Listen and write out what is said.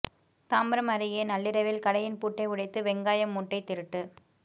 தாம்பரம் அருகே நள்ளிரவில் கடையின் பூட்டை உடைத்து வெங்காய மூட்டை திருட்டு